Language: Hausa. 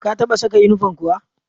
Ka taɓa saka inifom kuwa?